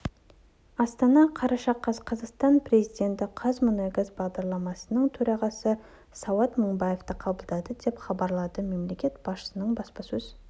астана қараша қаз қазақстан президенті қазмұнайгаз басқармасының төрағасы сауат мыңбаевты қабылдады деп хабарлады мемлекет басшысының баспасөз